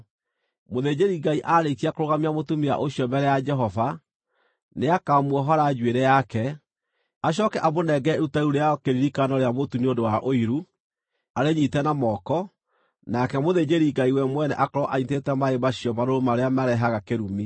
Mũthĩnjĩri-Ngai aarĩkia kũrũgamia mũtumia ũcio mbere ya Jehova, nĩakamuohora njuĩrĩ yake, acooke amũnengere iruta rĩu rĩa kĩririkano rĩa mũtu nĩ ũndũ wa ũiru arĩnyiite na moko, nake mũthĩnjĩri-Ngai we mwene akorwo anyiitĩte maaĩ macio marũrũ marĩa marehaga kĩrumi.